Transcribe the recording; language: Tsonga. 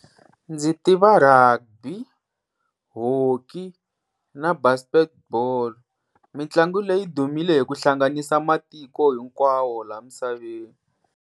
Ndzi tiva Rugby, Hockey na Basketball mitlangu leyi dumile hi ku hlanganisa matiko hinkwawo laha misaveni